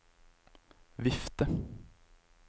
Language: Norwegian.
vifte